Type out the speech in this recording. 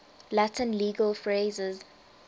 latin legal phrases